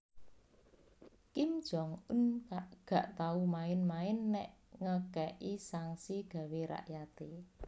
Kim Jong un gak tau main main nek ngeke'i sanksi gawe rakyate